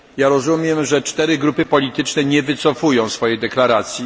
Rozumiem, że cztery grupy polityczne nie wycofują swojej deklaracji.